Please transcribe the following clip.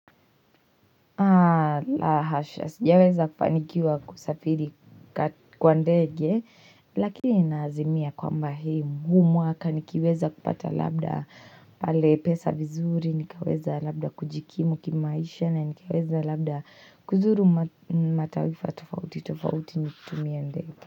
La hasha, sijaweza kufanikiwa kusafiri kwa ndege, lakini ninaazimia kwamba huu mwaka, nikiweza kupata labda pale pesa vizuri, nikaweza labda kujikimu kimaisha, na nikaweza labda kuzuru mataifa tofauti, tofauti nikitumia ndege.